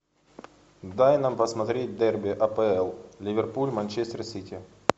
дай нам посмотреть дерби апл ливерпуль манчестер сити